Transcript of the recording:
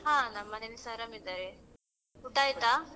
ಹಾ ನಮ್ ಮನೇಲ್ಲಿಸ ಆರಾಮ್ ಇದ್ದಾರೆ, ಊಟ ಆಯ್ತಾ?